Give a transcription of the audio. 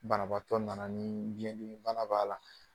Banabaatɔ nana ni biyɛndimi bana b'a la.